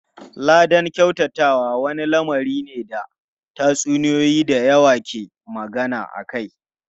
Ladan kyautatawa wani lamari ne da tatsuniyoyi da yawa ke magana akai.